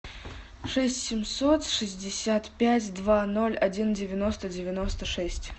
шесть семьсот шестьдесят пять два ноль один девяносто девяносто шесть